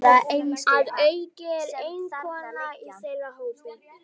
Að auki er ég eina konan í þeirra hópi.